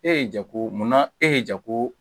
E ye jako mun na e ye jako